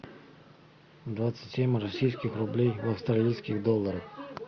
двадцать семь российских рублей в австралийских долларах